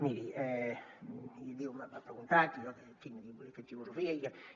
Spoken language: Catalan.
miri m’ha preguntat i jo en fi he fet filosofia i